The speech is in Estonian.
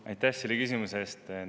Aitäh selle küsimuse eest!